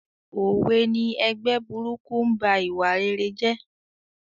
Òwe ni "Ẹgbẹ́ burúkú ń ba ìwà rere jẹ́"